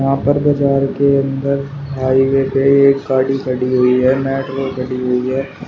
यहां पर बाजार के अंदर हाइवे पे एक गाड़ी खड़ी हुई है मेट्रो खड़ी हुई है।